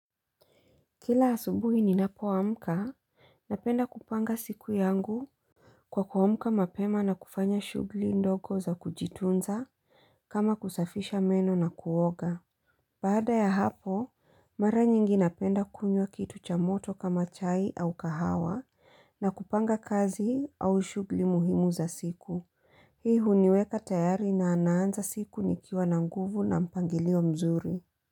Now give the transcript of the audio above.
Kila asubuhi ni napoamka, napenda kupanga siku yangu kwa kuamka mapema na kufanya shughuli ndogo za kujitunza kama kusafisha meno na kuoga. Baada ya hapo, mara nyingi napenda kunywa kitu cha moto kama chai au kahawa na kupanga kazi au shughuli muhimu za siku. Hii huniweka tayari na naanza siku nikiwa na nguvu na mpangilio mzuri.